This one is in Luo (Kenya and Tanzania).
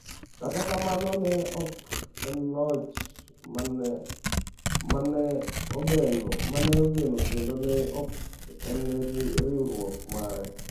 Kata kamano, ne ok en loch ma ne ogeno, kendo ne ok en riwruok mare.